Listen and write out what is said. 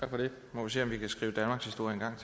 må sige